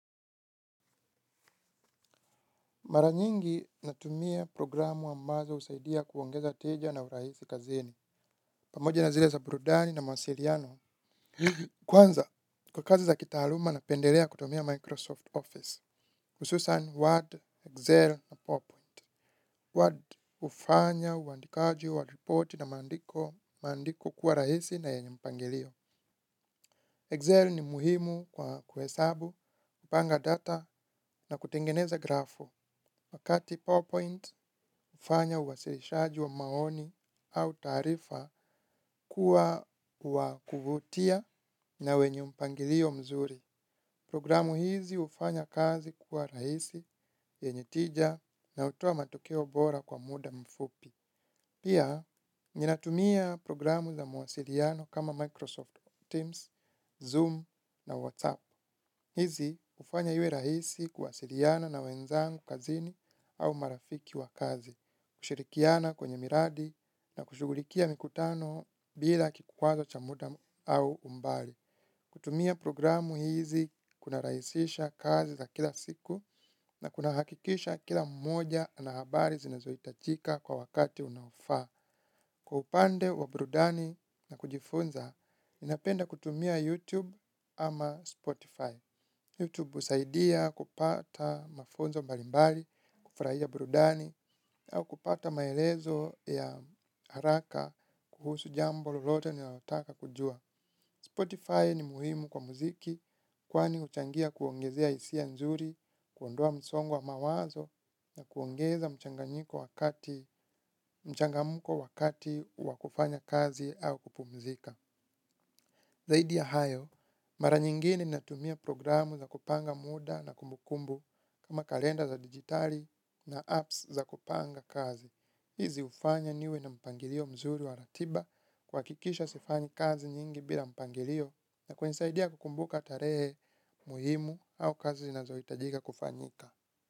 Maranyingi natumia programu ambazo husaidia kuongeza tija na urahisi kazini. Pamoja na zile za burudani na mawasiliano. Kwanza, kwa kazi za kitaaluma napendelea kutumia Microsoft Office. Hususan Word, Excel na PowerPoint. Word ufanya, uandikaji, wa ripoti na maandiko kuwa rahisi na yenye mpangilio. Excel ni muhimu kwa kuhesabu, kupanga data na kutengeneza grafu. Wakati PowerPoint ufanya uwasilishaji wa maoni au taarifa kuwa wa kuvutia na wenye mpangilio mzuri. Programu hizi hufanya kazi kuwa rahisi, yenye tija na hutoa matokeo bora kwa muda mfupi pia, nina tumia programu za mawasiliano kama Microsoft Teams, Zoom na WhatsApp. Hizi ufanya iwe rahisi kuwasiliana na wenzangu kazini au marafiki wa kazi, kushirikiana kwenye miradi na kushugulikia mikutano bila kikwazo cha muda au umbali. Kutumia programu hizi kuna rahisisha kazi za kila siku na kuna hakikisha kila mmoja ana habari zinazohitajika kwa wakati unaofaa. Kwa upande wa burudani na kujifunza, ninapenda kutumia YouTube ama Spotify. Youtube usaidia kupata mafunzo mbalimbali, kufurahia burudani au kupata maelezo ya haraka kuhusu jambo lolote unaotaka kujua. Spotify ni muhimu kwa muziki kwani uchangia kuongezea isia nzuri, kuondoa msongo wa mawazo na kuongeza mchangamuko wakati wakufanya kazi au kupumzika. Zaidi ya hayo, mara nyingine natumia programu za kupanga muda na kumbukumbu kama kalenda za digitali na apps za kupanga kazi. Hizi ufanya niwe na mpangilio mzuri wa ratiba kuhakikisha sifanyi kazi nyingi bila mpangilio na kunisaidia kukumbuka tarehe muhimu au kazi zinazohitajika kufanyika.